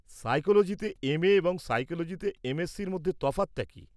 সাইকোলোজিতে M A এবং সাইকোলোজিতে এম.এসসি-র মধ্যে তফাত কী?